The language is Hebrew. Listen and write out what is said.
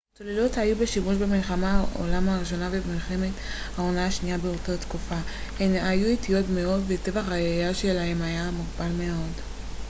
צוללות היו בשימוש במלחמת העולם הראשונה ובמלחמת העולם השנייה באותה תקופה הן היו איטיות מאוד וטווח הירייה שלהן היה מוגבל מאוד